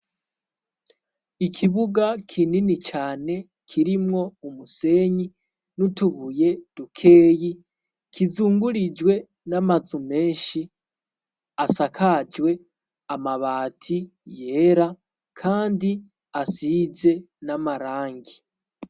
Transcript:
Ikibuga kinini cane kirimwo umusenyi n'utubuye dukeyi, kizungurijwe n'ama nzu menshi asakajwe amabati yera kandi asize n'amarangi.